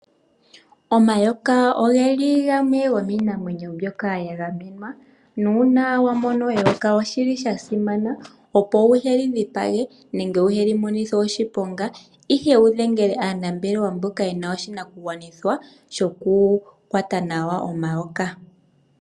Omayoka oge li gamwe gomiinamwenyo mbyoka ya gamenwa, nuuna wa mona eyoka oshili sha simana opo wu heli dhipage nenge wu heli monithe oshiponga, ihe wu dhengele aanambelewa mboka ye na oshinakugwanithwa shoku kwata nawa omayoka.